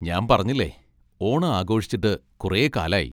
ഞാൻ പറഞ്ഞില്ലേ, ഓണം ആഘോഷിച്ചിട്ട് കുറേ കാലായി.